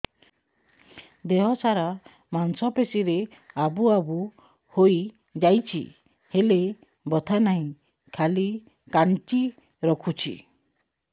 ଦେହ ସାରା ମାଂସ ପେଷି ରେ ଆବୁ ଆବୁ ହୋଇଯାଇଛି ହେଲେ ବଥା ନାହିଁ ଖାଲି କାଞ୍ଚି ରଖୁଛି